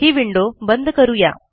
ही window बंद करू या